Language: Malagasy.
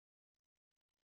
vokatra eo ambony latab